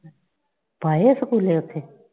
ਪਾਏ ਆ ਸਕੂਲੇ ਉੱਥੇ?